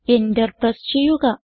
enter press ചെയ്യുക